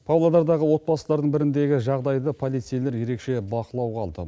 павлодардағы отбасылардың біріндегі жағдайды полицейлер ерекше бақылауға алды